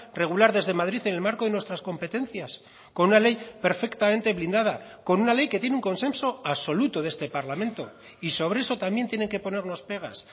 regular desde madrid en el marco de nuestras competencias con una ley perfectamente blindada con una ley que tiene un consenso absoluto de este parlamento y sobre eso también tienen que ponernos pegas